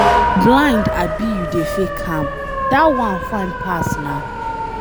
You blind abi you dey fake am, dat one fine pass na.